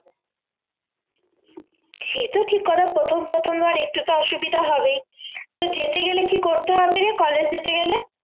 সে তো ঠিক কথা প্রথম প্রথম ধর একটু তো অসুবিধা হবেই তো যেতে গেলে কি করতে হবে রে college যেতে গেলে